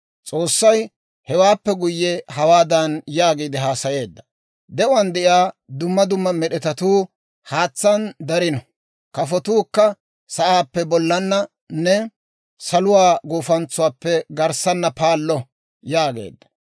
S'oossay hewaappe guyye hawaadan yaagiide haasayeedda; «De'uwaan de'iyaa dumma dumma med'etatuu haatsaan darino; kafuukka sa'aappe bollananne saluwaa guufantsuwaappe garssana paallo» yaageedda.